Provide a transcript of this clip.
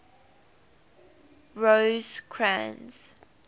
rosecrans